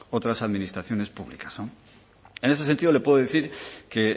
otras administraciones públicas en ese sentido le puedo decir que